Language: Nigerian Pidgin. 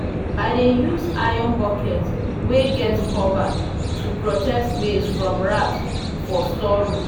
i dey use iron bucket wey get cover to protect maize from rat for storeroom.